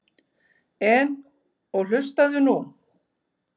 En. og hlustaðu nú